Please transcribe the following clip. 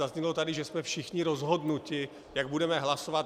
Zaznělo tady, že jsme všichni rozhodnuti, jak budeme hlasovat.